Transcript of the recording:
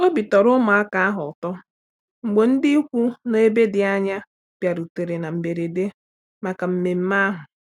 Obi tọrọ ụmụaka ahụ ụtọ mgbe ndị ikwu nọ n'ebe dị anya bịarutere na mberede maka nmenme ahụ.